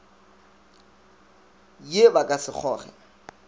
ye ba ka se kgoge